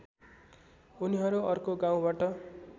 उनीहरू अर्को गाउँबाट